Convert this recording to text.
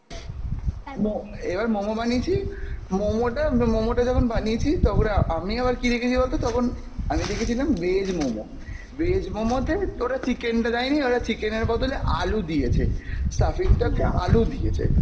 মো~ এবার মোমো বানিয়েছি, মোমো টা মোমো টা যখন বানিয়েছি তখন অ্যা আমি আবার কী দেখেছি বলতো তখন আমি দেখেছিলাম veg মোমো, veg মোমোতে তো ওরা chicken টা দেইনি, chicken এর বদলে আলু দিয়েছে, stuffing টা হচ্ছে আলু দিয়েছে,